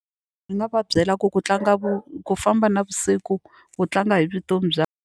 Ni nga va byela ku ku tlanga ku famba navusiku ku tlanga hi vutomi bya.